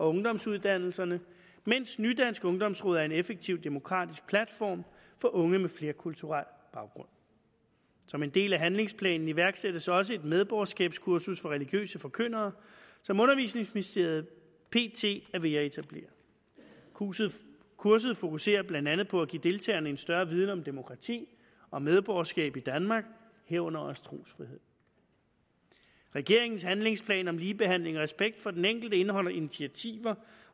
ungdomsuddannelserne mens ny dansk ungdomsråd er en effektiv og demokratisk platform for unge med flerkulturel baggrund som en del af handlingsplanen iværksættes også et medborgerskabskursus for religiøse forkyndere som undervisningsministeriet pt er ved at etablere kurset kurset fokuserer blandt andet på at give deltagerne en større viden om demokrati og medborgerskab i danmark herunder også trosfrihed regeringens handlingsplan om ligebehandling og respekt for den enkelte indeholder initiativer